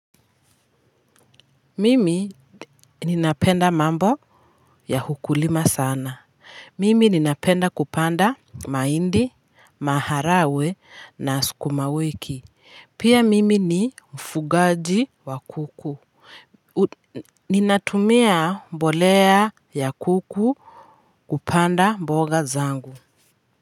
Mimi ninapenda mambo ya ukulima sana. Mimi napenda kupanda mahindi maharagwe na sukuma wiki pia mimi ni mfugaji wa kuku ninatumia mbolea ya kuku kupanda mboga zangu.